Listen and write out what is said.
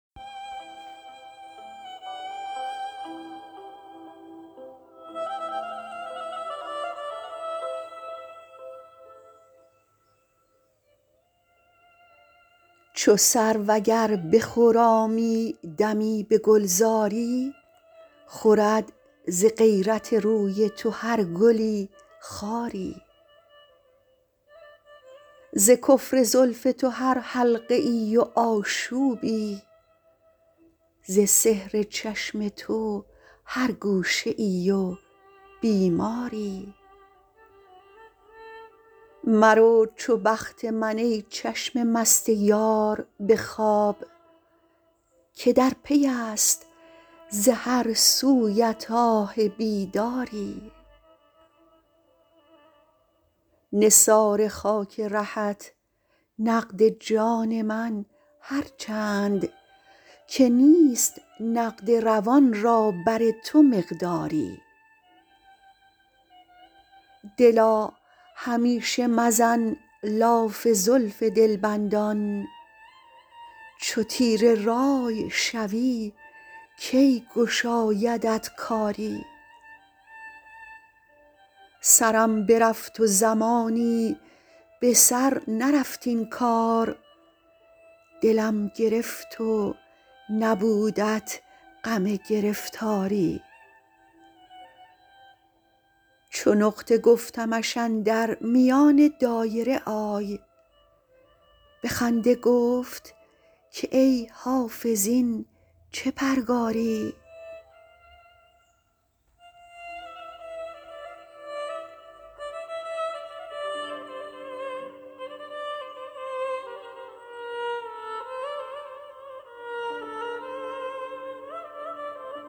چو سرو اگر بخرامی دمی به گلزاری خورد ز غیرت روی تو هر گلی خاری ز کفر زلف تو هر حلقه ای و آشوبی ز سحر چشم تو هر گوشه ای و بیماری مرو چو بخت من ای چشم مست یار به خواب که در پی است ز هر سویت آه بیداری نثار خاک رهت نقد جان من هر چند که نیست نقد روان را بر تو مقداری دلا همیشه مزن لاف زلف دلبندان چو تیره رأی شوی کی گشایدت کاری سرم برفت و زمانی به سر نرفت این کار دلم گرفت و نبودت غم گرفتاری چو نقطه گفتمش اندر میان دایره آی به خنده گفت که ای حافظ این چه پرگاری